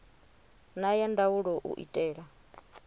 na ya ndaulo u itela